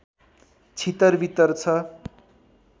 छितर वितर छ